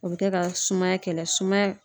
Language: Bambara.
O bɛ kɛ ka sumaya kɛlɛ sumaya